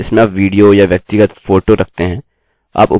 आप उपयोगकर्ता द्वारा प्रविष्ट अंतिम स्थान पर रख सकते हैं